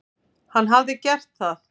Hann hafi gert það.